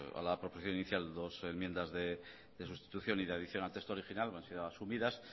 a la proposición inicial dos enmiendas de sustitución y de adición al texto original no han sido asumidas